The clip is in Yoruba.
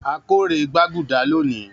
A kórè gbaguda loni.